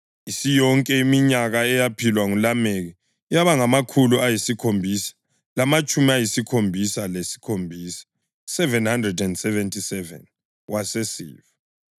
Isiyonke iminyaka eyaphilwa nguLameki yaba ngamakhulu ayisikhombisa lamatshumi ayisikhombisa lesikhombisa (777), wasesifa.